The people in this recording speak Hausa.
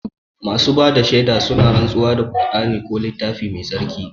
Masu bada shaida suna rantsuwa da kur'ani ko littafi mai tsarki